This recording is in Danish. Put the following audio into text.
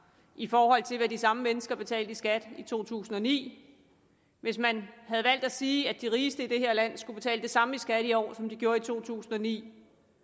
i forhold til hvad de samme mennesker betalte i skat i to tusind og ni hvis man havde valgt at sige at de rigeste i det her land skulle betale det samme i skat i år som de gjorde i to tusind og ni